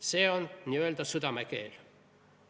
See on n-ö südame keel.